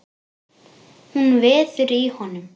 Hún veður í honum.